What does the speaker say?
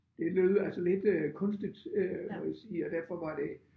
Det lød altså lidt øh kunstigt øh må jeg sige og derfor var det